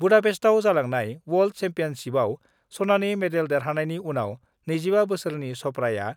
बुदापेस्टआव जालांनाय वर्ल्ड सेम्पियनसिपआव सनानि मेडेल देरहानायनि उनाव 25 बोसोरनि चप्राआ